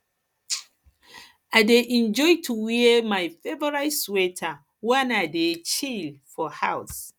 um i um dey enjoy to um wear my favorite sweater wen i dey chill for house